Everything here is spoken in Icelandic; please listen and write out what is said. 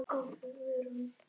Svo kólnaði aftur í veðri.